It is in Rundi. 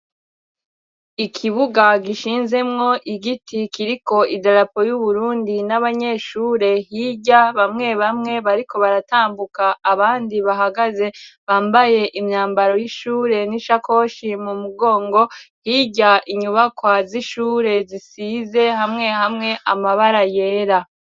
Ikibuga gishinzemwo igiti kiriko idarapo y'Uburundi, n'abanyeshure hirya, bamwe bamwe bariko baratambuka, abandi bahagaze bambaye imyambaro y'ishure n'ishakoshi mu mugongo, hirya inyubakwa z'ishure zisize hamwe hamwe amabara yera.